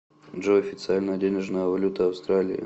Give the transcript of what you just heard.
джой официальная денежная валюта австралии